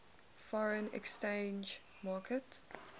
foreign exchange market